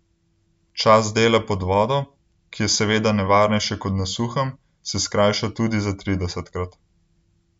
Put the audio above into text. Čas dela pod vodo, ki je seveda nevarnejše kot na suhem, se skrajša tudi za tridesetkrat.